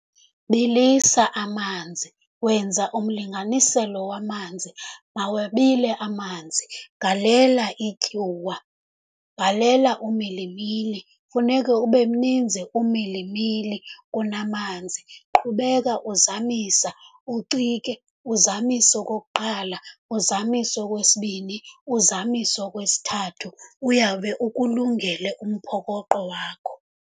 Bilisa amanzi, wenza umlinganiselo wamanzi, mawabile amanzi, galela ityuwa, galela umilimili. Kufuneka ube mninzi umilimili kunamanzi. Qhubeka uzamisa, ucike uzamise okokuqala, uzamise okwesibini, uzamise okwesithathu, uyawube ukulungele umphokoqo wakho.